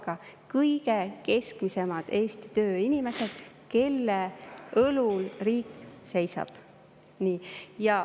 Need on kõige keskmisemad Eesti tööinimesed, kelle õlul riik seisab.